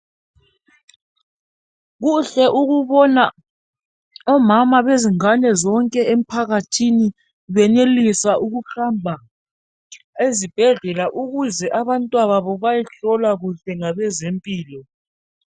Kuhle ukubona omama bezingane zonke emphakathini benelisa ukuhamba ezibhedlela ukuze abantwana babo bayehlolwa kuhle ngabezempilo.